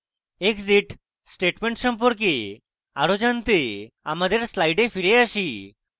exit statement সম্পর্কে আরও জানতে আমাদের slides ফিরে আসি